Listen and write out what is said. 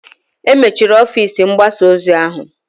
E mechiri ọfịs mgbasa ozi ahụ